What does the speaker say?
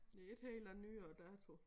Det ikke helt af nyere dato